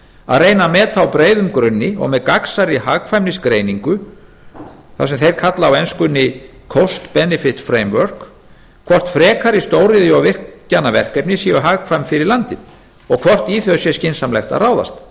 að reyna að meta á breiðum grunni og með gagnsærri hagkvæmnisgreiningu það sem þeir kalla á enskunni cost benefit framework hvort frekari stóriðju og virkjanaverkefni séu hagkvæm fyrir landið og hvort í þau sé skynsamlegt að ráðast